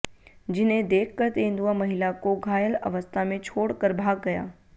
जिन्हें देख कर तेंदुआ महिला को घायल अवस्था में छोड़ कर भाग गया